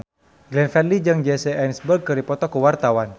Glenn Fredly jeung Jesse Eisenberg keur dipoto ku wartawan